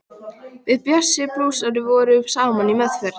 Við Bjössi blúsari vorum saman í meðferð.